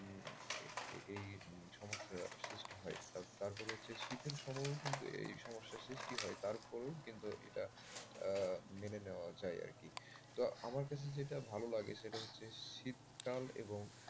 এই সমস্যার সৃষ্টি হয় আর তারপর হচ্ছে যে শীতের সময়ও কিন্তু এই সমস্যার সৃষ্টি হয় তারপরও কিন্তু এটা মেনে নেয়া যায় আর কি তো আমার কাছে যেটা ভালো লাগে সেটা হচ্ছে শীতকাল এবং,